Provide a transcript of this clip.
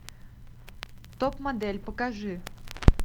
топ модель покажи